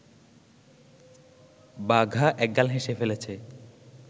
বাঘা একগাল হেসে ফেলেছে